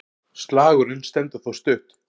Slagurinn stendur þó stutt.